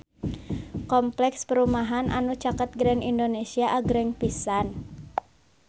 Kompleks perumahan anu caket Grand Indonesia agreng pisan